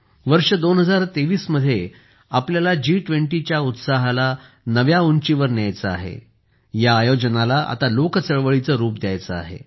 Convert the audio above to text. वर्ष 2023 मध्ये आपल्याला G20 च्या उत्साहाला नव्या उंचीवर न्यायचे आहे या आयोजनाला आता लोकचळवळीचे रूप द्यायचे आहे